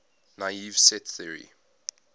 naive set theory